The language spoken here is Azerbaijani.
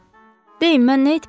Deyin mən nə etməliyəm?